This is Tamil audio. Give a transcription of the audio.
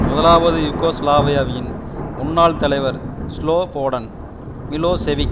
முதலாவது யூகோஸ்லாவியாவின் முன்னாள் தலைவர் ஸ்லொபோடன் மிலோசெவிக்